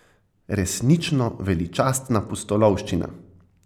Resnično veličastna pustolovščina.